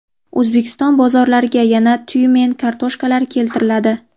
O‘zbekiston bozorlariga yana Tyumen kartoshkalari keltiriladi .